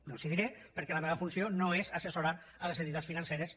no els ho diré perquè la meva funció no és assessorar les entitats financeres